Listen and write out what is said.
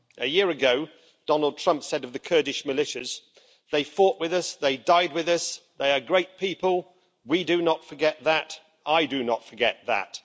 A year ago, Donald Trump said of the Kurdish militias They fought with us, they died with us', They are a great people', We do not forget that, I do not forget that'.